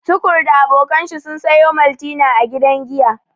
Tukur da abokan shi sun sayo maltina a gidan giya.